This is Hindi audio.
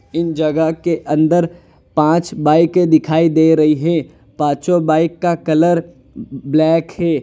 इन जगह के अंदर पांच बाईके दिखाई दे रही हैं पांचो बाइक का कलर ब्लैक है।